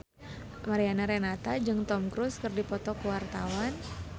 Mariana Renata jeung Tom Cruise keur dipoto ku wartawan